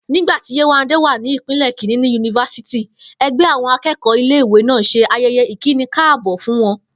Nígbà tí Yéwándé wà ní ipele kìíní ní yunifásítì, e̩gbé̩ àwo̩n aké̩kò̩ó̩ ilé ìwé náà s̩e aye̩ye̩ ìkínikáàbò́ fún wo̩n